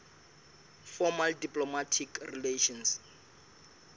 formal diplomatic relations